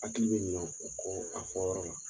Hakili be ɲinɛ wo kɔ a fɔyɔrɔ la